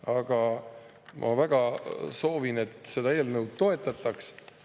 Aga ma väga soovin, et seda eelnõu toetataks.